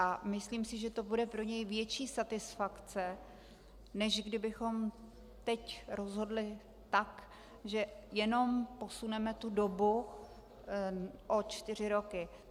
A myslím si, že to bude pro něj větší satisfakce, než kdybychom teď rozhodli tak, že jenom posuneme tu dobu o čtyři roky.